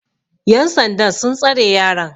yansandan sun tsare yaron